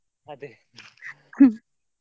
ಅದೇ.